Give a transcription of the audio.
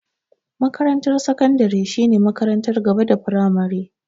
Makarantar sakandare shine makarantar gaba da firamare.